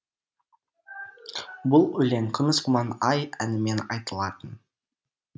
бұл өлең күміс құман ай әнімен айтылатын